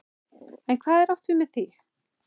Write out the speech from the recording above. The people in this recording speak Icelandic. En hvað er átt við með því?